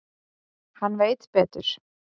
Hann veit betur.